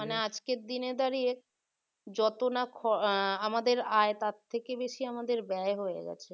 আজকের দিনে দাড়িয়ে যত না খ আহ আমাদের আয় তার থেকে বেশি আমাদের ব্যয় হয়ে গেছে